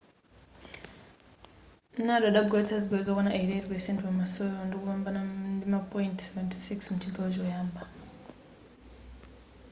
nadal adagoletsa zigoli zokwana 88% pamasewerowo ndikupambana ndima point 76 mchigawo choyamba